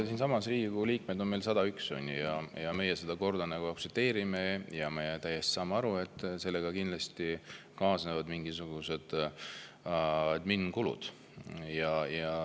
Siinsamas on Riigikogu liikmeid 101 ning meie seda korda aktsepteerime ja saame täiesti aru, et sellega kaasnevad kindlasti mingisugused adminkulud.